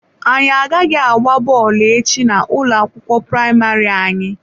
Anyị agaghị agba bọọlụ echi na ụlọ akwụkwọ praịmarị anyị.